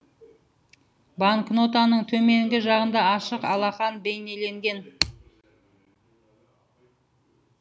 банкнотаның төменгі жағында ашық алақан бейнеленген